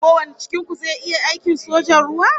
Ko wanin cikin ku zai iya aikin sojan ruwa?